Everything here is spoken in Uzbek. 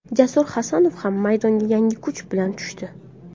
Jasur Hasanov ham maydonga yangi kuch bilan tushdi.